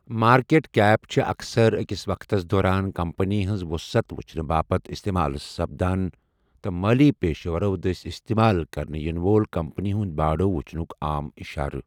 Market cap چھٖ اكثر اكِس وقتس دوران كمپنی ہنز وٗسعت وٗچھنہٕ باپت استعمال سپدان تہٕ مٲلی پیشورو دٕسہِ استعمال كرنہٕ ییِنہٕ وول كمپنی ہٗند باڈو وٗچھنٗك عام اِشارٕ ۔